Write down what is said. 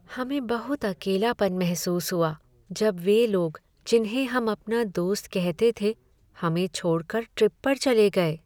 हमें बहुत अकेलापन महसूस हुआ जब वे लोग जिन्हें हम अपना दोस्त कहते थे, हमें छोड़कर ट्रिप पर चले गए।